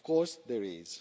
Of course there